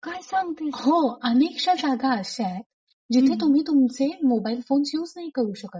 काय सांगते? हो अनेकश्या जागा अशा आहेत जिथे तुम्ही तुमचे मोबाईल फ़ोन्स युज नाही करू शकत.